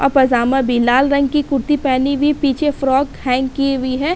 और पजामा भी लाल रंग की कुर्ती पहनी हुई पीछे फ्राक हैंग की हुई है।